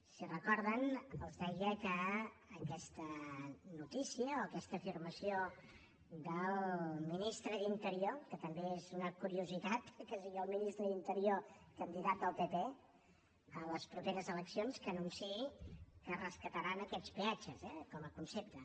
si ho recorden els deia que aquesta notícia o aquesta afirmació del ministre d’interior que també és una curiositat que sigui el ministre d’interior candidat del pp a les properes eleccions qui anunciï que es rescataran aquests peatges eh com a concepte